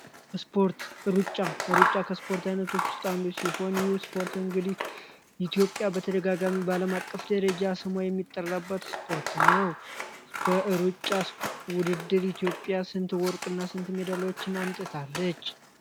ስፖርት ሩጫ እሩጫ ከስፖርት ዓይነቶች ውስጣ አንዱ ሲሆን ይህ ስፖርት እንግድ ኢትዮጵያ በተደጋጋሚ ባለም አቀፍ ደረጃ ስማ የሚጠረበት ስፖርት ነው። በውድድር ኢትዮጵያ ስንት ወርቅ እና ስንት ሜደለዎችን አምጥታለች?